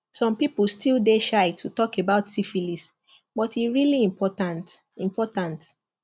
some people still dey shy to talk about syphilis but e really important important